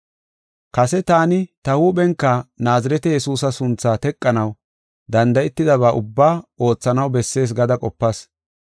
“Kase taani ta huuphenka Naazirete Yesuusa sunthaa teqanaw danda7etidaba ubbaa oothanaw bessees gada qopas.